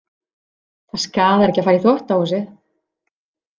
Það skaðar ekki að fara í þvottahúsið.